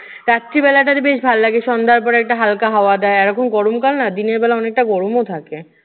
রাত্রিবেলাটা যে বেশ ভাল লাগে। সন্ধ্যা পরে একটা হালকা হাওয়া দেয়, এইরকম গরমকাল না দিনের বেলা অনেকটা গরমও থাকে।